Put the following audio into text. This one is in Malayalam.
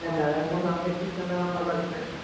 അതെന്നെ അത് സംരക്ഷികേണ്ടത് നമ്മടെ കടമേണ്